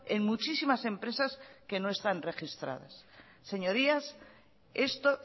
en muchísimas empresas que no están registradas señorías esto